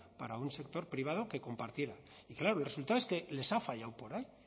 para un sector privado que compartiera claro el resultado es que les ha fallado por ahí